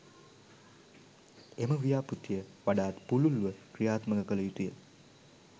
එම ව්‍යාපෘතිය වඩාත් පුළුල්ව ක්‍රියාත්මක කළ යුතුය